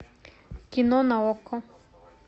кино на окко